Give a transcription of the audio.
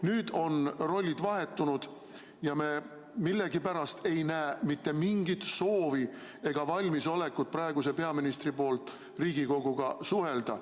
Nüüd on rollid vahetunud ja me millegipärast ei näe praeguse peaministri poolt mitte mingit soovi ega valmisolekut Riigikoguga suhelda.